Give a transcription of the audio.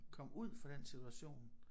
Kom ud for den situation